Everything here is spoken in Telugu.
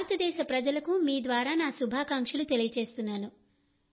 భారతదేశ ప్రజలకు మీ ద్వారా నా శుభాకాంక్షలు తెలియజేస్తున్నాను